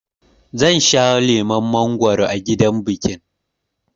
Zan sha lemon mangwaro a gidan bikin